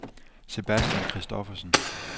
Sebastian Christoffersen